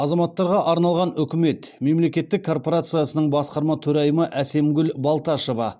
азаматтарға арналған үкімет мемлекеттік корпорациясының басқарма төрайымы әсемгүл балташева